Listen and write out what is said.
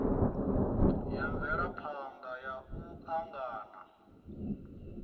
ya mvelaphana ya u angana